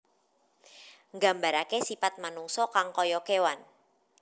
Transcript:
Nggambaraké sipat manungsa kang kaya kéwan